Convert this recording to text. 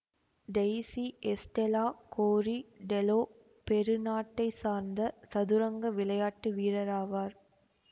Daisy Estela Cori Tello Peru நாட்டை சார்ந்த சதுரங்க விளையாட்டு வீரர் ஆவார்